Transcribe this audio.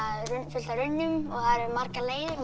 fullt af runnum og það eru margir leiðir